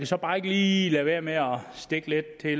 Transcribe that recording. så bare ikke lige lade være med at stikke lidt til